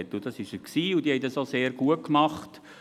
Das war er auch, und sie haben es auch sehr gut gemacht.